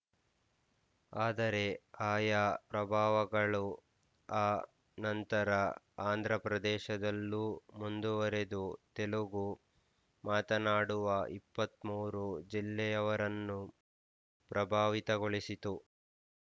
ಆದರೆ ಆಯಾ ಪ್ರಭಾವಗಳು ಆ ನಂತರ ಆಂಧ್ರಪ್ರದೇಶದಲ್ಲೂ ಮುಂದುವರಿದು ತೆಲುಗು ಮಾತಾಡುವ ಇಪ್ಪತ್ತ್ ಮೂರು ಜಿಲ್ಲೆಯವರನ್ನು ಪ್ರಭಾವಿತಗೊಳಿಸಿತು